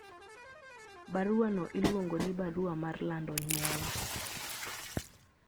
baruano iluongo ni barua mar lando nyuol